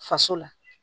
Faso la